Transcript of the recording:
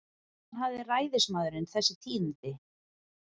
Hvaðan hafði ræðismaðurinn þessi tíðindi?